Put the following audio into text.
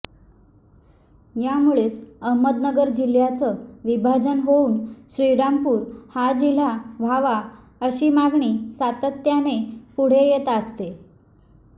यामुळेच अहमदनगर जिल्हयाचं विभाजन होऊन श्रीरामपूर हा जिल्हा व्हावा अशी मागणी सातत्याने पुढे येत असते